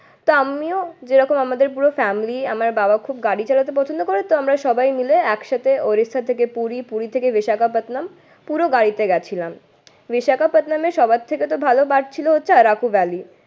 তা আমিও যেরকম আমাদের পুরো ফ্যামিলি আমার বাবা খুব গাড়ি চালাতে পছন্দ করেতো তাই আমরা সবাই মিলে একসাথে উড়িষ্যা থেকে পুরী, পুরী থেকে বিশাখাপাট্টানাম পুরো গাড়িতে গেছিলাম। বিশাখাপাট্টানামে সবার থেকে তো ভালো ছিল হচ্ছে আরাকুভালি।